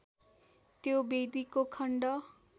त्यो वेदीको खण्ड